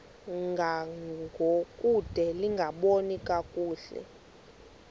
ngangokude lingaboni kakuhle